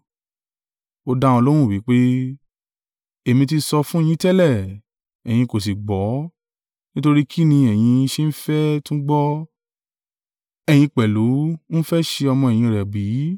Ó dá wọn lóhùn wí pé, “Èmi ti sọ fún yín tẹ́lẹ̀, ẹ̀yin kò sì gbọ́, nítorí kín ni ẹ̀yin ṣe ń fẹ́ tún gbọ́? Ẹ̀yin pẹ̀lú ń fẹ́ ṣe ọmọ-ẹ̀yìn rẹ̀ bí?”